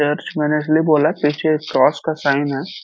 Church मैंने इसलिए बोला पीछे एक क्रॉस का साइन है।